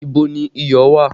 Ibo ni iyọ̀ wà?